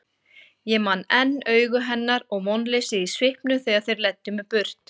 Ég man enn augu hennar og vonleysið í svipnum þegar þeir leiddu mig burt.